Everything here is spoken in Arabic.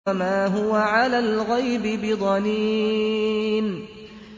وَمَا هُوَ عَلَى الْغَيْبِ بِضَنِينٍ